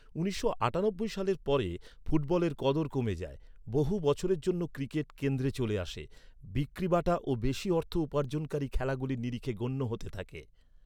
উনিশশো আটানব্বই সালের পরে, ফুটবলের কদর কমে যায়। বহু বছরের জন্য ক্রিকেট কেন্দ্রে চলে আসে। বিক্রিবাটা ও বেশি অর্থ উপার্জনকারী খেলাগুলির নিরিখে গণ্য হতে থাকে।